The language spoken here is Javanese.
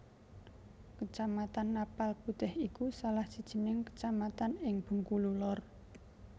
Kecamatan Napal Putih iku salah sijining kecamatan ing Bengkulu Lor